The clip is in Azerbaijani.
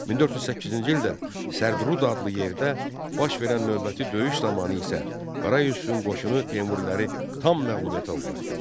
1408-ci ildə Sərdərud adlı yerdə baş verən növbəti döyüş zamanı isə Qara Yusifin qoşunu Teymuriləri tam məğlubiyyətə uğratdı.